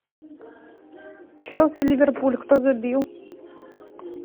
челси ливерпуль кто забил